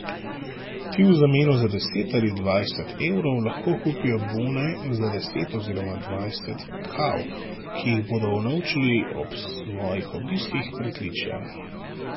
Ti v zameno za deset ali dvajset evrov lahko kupijo bone za deset oziroma dvajset kav, ki jih bodo unovčili ob svojih obiskih Pritličja.